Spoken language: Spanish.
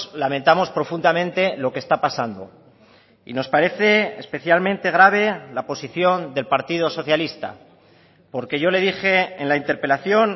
lamentamos profundamente lo que está pasando y nos parece especialmente grave la posición del partido socialista porque yo le dije en la interpelación